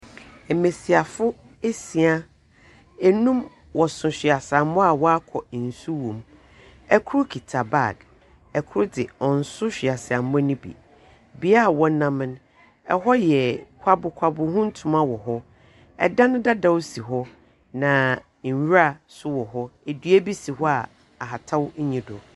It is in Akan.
Mmesiafo esia. Enum, wɔso hwaisamɔ a nsu wɔ mu. Ɛkoro kita bag, ɛkoro de, ɔnso hwaisamɔ no bi. Bia wɔnamo no, ɛhɔ yɛ kwabokwabo, hutuma wɔ hɔ. Ɛdan dada si hɔ na nwura so wɔ hɔ, edua bi si hɔ a ahatau nni do.